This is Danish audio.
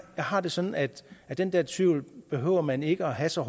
har det sådan at at den der tvivl behøver man ikke at have så